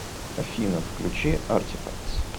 афина включи артифактс